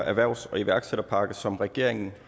erhvervs og iværksætterpakke som regeringen